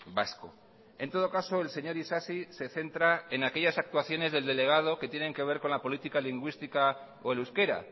vasco en todo caso el señor isasi se centra en aquellas actuaciones del delegado que tienen que ver con la política lingüística o el euskera